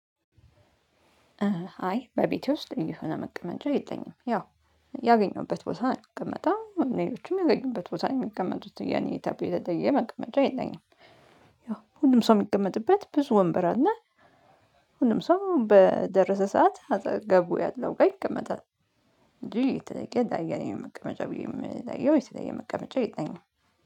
አይ በቤቴ ልዪ የሆነ መቀመጫ የለኝም ያው ያገኘሁበት ቦታ የምቀመጠው ሌሎቹም የገኙበት ቦታ የሚቀመቱት የኔ የተለየ መቀመጫ የለኝም። ያው ሁሉም ሰው የሚቀመጥበት ብዙ ወንበር አለ ሁሉም ሰው በደረሰ ሰዓት አጠገቡ ያለው ጋር ይቀመጣል። የተለየ የኔ መቀመጫ የሚለየው የተለየ መቀመጫ የለኝም።